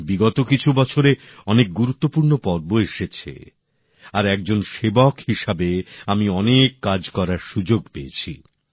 বিগত কিছু বছরে অনেক গুরুত্বপূর্ণ পর্ব এসেছে আর একজন সেবক হিসেবে আমি অনেক কাজ করার সুযোগ পেয়েছি